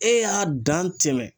E y'a dan tɛmɛ